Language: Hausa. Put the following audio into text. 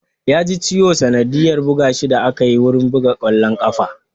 Ya ji ciwo sanadiyyar buga shi da akayi wurin buga ƙwallon ƙafa